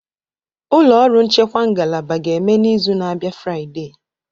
Ụlọ ọrụ nchekwa ngalaba ga-eme n'izu na-abịa Friday